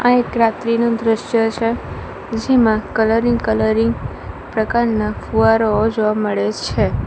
આ એક રાત્રીનું દ્રશ્ય છે જેમાં કલરિંગ કલરિંગ પ્રકારના ફુવારાઓ જોવા મળે છે.